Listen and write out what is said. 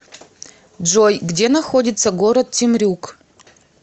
джой где находится город темрюк